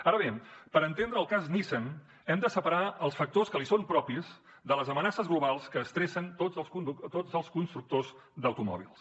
ara bé per entendre el cas nissan hem de separar els factors que li són propis de les amenaces globals que estressen tots els constructors d’automòbils